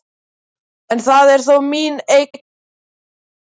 En það er þó mín eign, bætti hann við.